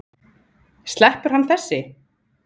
Sleppur hann þessi?